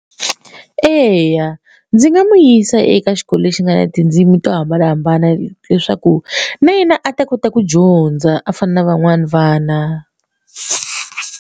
Eya ndzi nga n'wi yisa eka xikolo lexi nga na tindzimi to hambanahambana leswaku na yena a ta kota ku dyondza a fana na van'wani vana.